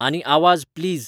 आनी आवाज प्लीज